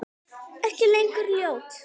Ekki lengur ljót.